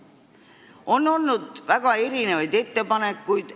On tehtud igasuguseid ettepanekuid.